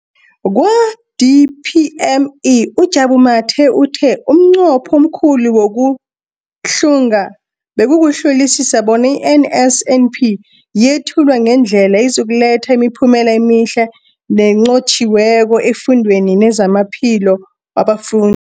Kwa-DPME, uJabu Mathe, uthe umnqopho omkhulu wokuhlunga bekukuhlolisisa bona i-NSNP yethulwa ngendlela ezokuletha imiphumela emihle nenqotjhiweko efundweni nezamaphilo wabafun